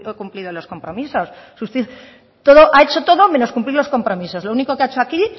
cumplido los compromisos ha hecho todo menos cumplir los compromisos lo único que ha hecho aquí